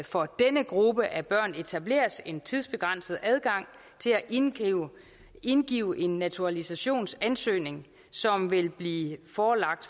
for denne gruppe af børn etableres en tidsbegrænset adgang til at indgive indgive en naturalisationsansøgning som vil blive forelagt